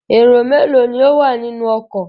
Èrò mélòó ni ó wà nínú ọkọ?